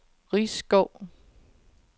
Risskov